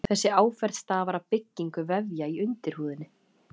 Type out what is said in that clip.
Þessi áferð stafar af byggingu vefja í undirhúðinni.